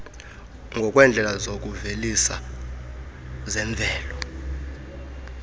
ngokweendlela zokuvelisa zemvelo